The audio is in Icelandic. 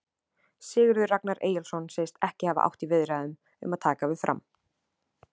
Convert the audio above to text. Sigurður Ragnar Eyjólfsson segist ekki hafa átt í viðræðum um að taka við Fram.